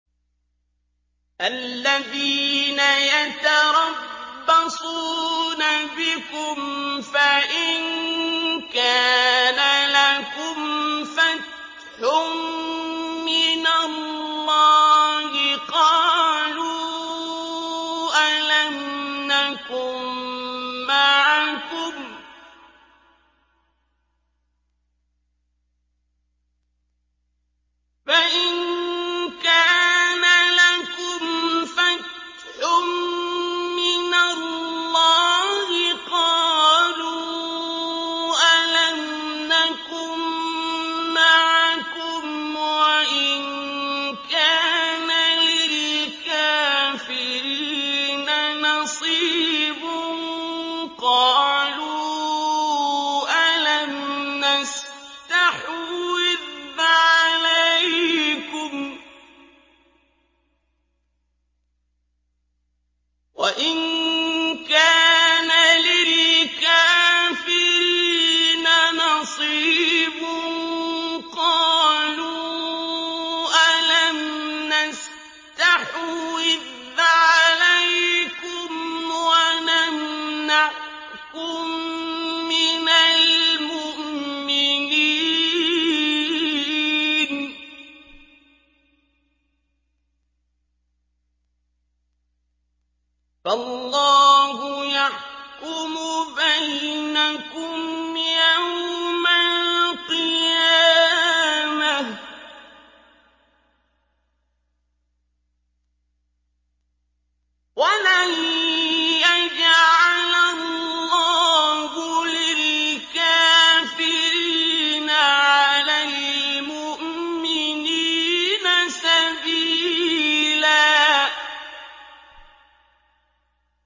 الَّذِينَ يَتَرَبَّصُونَ بِكُمْ فَإِن كَانَ لَكُمْ فَتْحٌ مِّنَ اللَّهِ قَالُوا أَلَمْ نَكُن مَّعَكُمْ وَإِن كَانَ لِلْكَافِرِينَ نَصِيبٌ قَالُوا أَلَمْ نَسْتَحْوِذْ عَلَيْكُمْ وَنَمْنَعْكُم مِّنَ الْمُؤْمِنِينَ ۚ فَاللَّهُ يَحْكُمُ بَيْنَكُمْ يَوْمَ الْقِيَامَةِ ۗ وَلَن يَجْعَلَ اللَّهُ لِلْكَافِرِينَ عَلَى الْمُؤْمِنِينَ سَبِيلًا